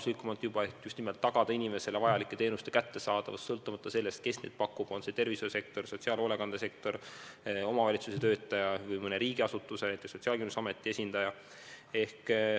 Soov on just nimelt tagada inimesele vajalike teenuste kättesaadavus sõltumata sellest, kes neid pakub – on see tervishoiusektor või sotsiaalhoolekande sektor, on see omavalitsuse töötaja või mõne riigiasutuse, näiteks Sotsiaalkindlustusameti esindaja.